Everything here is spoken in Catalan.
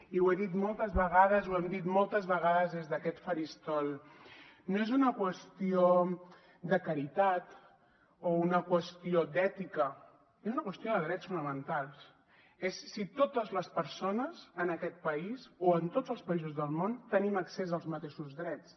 i ho he dit moltes vegades ho hem dit moltes vegades des d’aquest faristol no és una qüestió de caritat o una qüestió d’ètica és una qüestió de drets fonamentals és si totes les persones en aquest país o en tots els països del món tenim accés als mateixos drets